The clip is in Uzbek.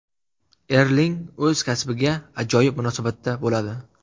Erling o‘z kasbiga ajoyib munosabatda bo‘ladi.